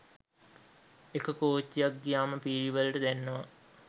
එක කෝච්චියක් ගියාම පීලි වලට දැනෙනවා